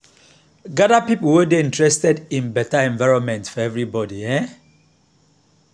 gather people wey dey interested in better environment for everybody. um